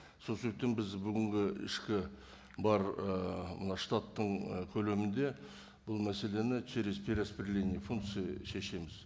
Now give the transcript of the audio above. сол себептен біз бүгінгі ішкі бар ііі мына штаттың і көлемінде бұл мәселені через перераспределение функций шешеміз